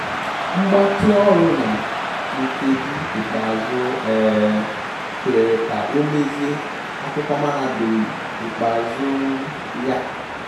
Mgbatị ọrụ na nkeji ikpeazụ um kwere ka o mezie akụkọ mahadum ikpeazụ um ya